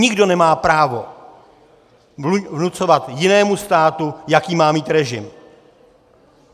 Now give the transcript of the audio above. Nikdo nemá právo vnucovat jinému státu, jaký má mít režim.